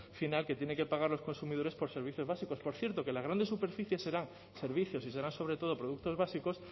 final que tienen que pagar los consumidores por servicios básicos por cierto que las grandes superficies serán servicios y serán sobre todo productos básicos